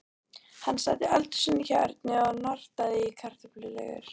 Hann sat í eldhúsinu hjá Erni og nartaði í kartöfluflögur.